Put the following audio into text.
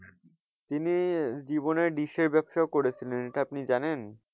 তিনি জীবনে ডিশের ব্যবসাও করেছিলেন এটা আপনি জানেন?